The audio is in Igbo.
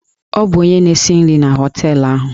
Ọ bụ onye na-esi nri na họteelụ ahụ.